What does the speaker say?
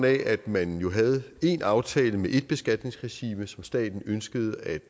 af at man havde en aftale med et beskatningsregime som staten ønskede at